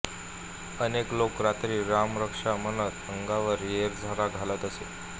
अनेक लोक रात्री रामरक्षा म्हणत अंगणात येरझारा घालत असत